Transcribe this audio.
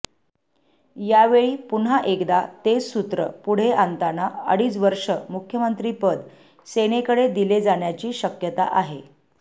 यावेळी पुन्हा एकदा तेच सूत्र पुढे आणताना अडीच वर्षे मुख्यमंत्रिपद सेनेकडे दिले जाण्याची शक्यता आहे